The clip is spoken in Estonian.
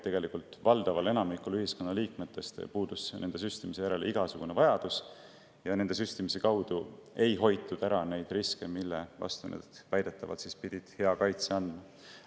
Tegelikult puudus valdaval enamikul ühiskonna liikmetest nende süstimise järele igasugune vajadus ja süstimise kaudu ei hoitud ära neid riske, mille vastu need väidetavalt pidid hea kaitse andma.